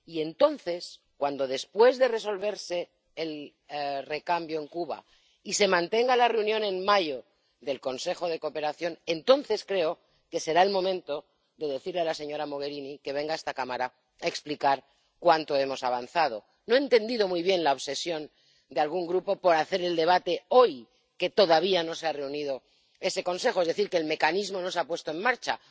Y entonces, cuando se haya resuelto el recambio en Cuba y se haya mantenido en mayo la reunión del Consejo Conjunto, entonces creo que será el momento de decirle a la señora Mogherini que venga a esta Cámara a explicar cuánto hemos avanzado. No he entendido muy bien la obsesión de algún grupo por hacer el debate hoy, cuando todavía no se ha reunido ese Consejo, es decir, cuando el mecanismo aún no se ha puesto en marcha.